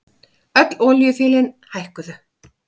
Öll olíufélögin hækkuðu